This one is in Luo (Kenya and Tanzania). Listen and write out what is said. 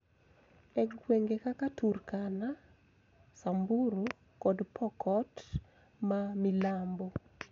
E gwenge kaka Turkana, Samburu, kod Pokot ma milambo,